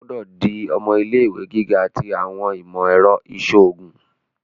O gbọdọ di ọmọ ilé-ìwé giga ti awọn imọ-ẹrọ iṣoogun!